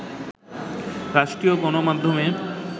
রাষ্ট্রীয় গণমাধ্যমে